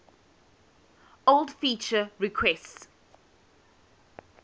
old feature requests